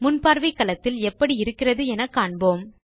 முன்பார்வை களத்தில் எப்படி இருக்கிறது என காண்போம்